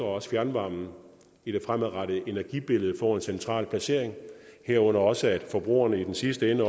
også fjernvarmen i det fremadrettede energibillede får en central placering herunder også at forbrugerne i den sidste ende